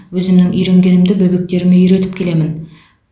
өзімнің үйренгенімді бөбектеріме үйретіп келемін